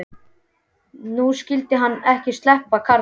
Nú skyldi hann ekki sleppa, karlinn.